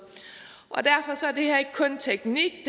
det her er ikke kun teknik